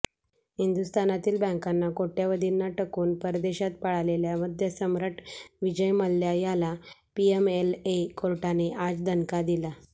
हिंदुस्थानातील बँकांना कोटय़वधींना ठकवून परदेशात पळालेल्या मद्यसम्राट विजय मल्ल्या याला पीएमएलए कोर्टाने आज दणका दिला